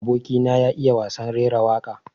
Aboki na ya iya wasan raira waƙa.